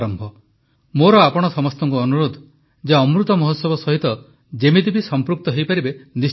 ମୋର ଆପଣ ସମସ୍ତଙ୍କୁ ଅନୁରୋଧ ଯେ ଅମୃତମହୋତ୍ସବ ସହିତ ଯେମିତି ବି ସଂପୃକ୍ତ ହୋଇପାରିବେ ନିଶ୍ଚିତ ହୁଅନ୍ତୁ